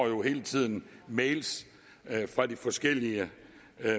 at vi hele tiden mails fra de forskellige